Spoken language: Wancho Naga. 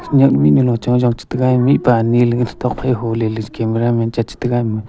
nya mihnyu lo cha jaw tega mihpa nelenge tokphai huleley camera man cha chetega ama.